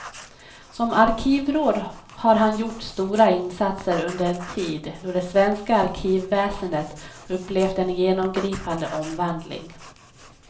Som arkivråd har han gjort stora insatser under en tid då det svenska arkivväsendet upplevt en genomgripande omvandling.